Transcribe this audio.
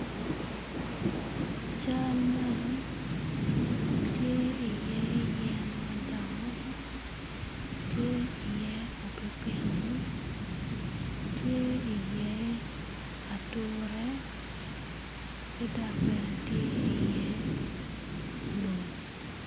Cal man tye iye yen madongo tye iye opipino tye iye ature ki dok bene tye iye lum.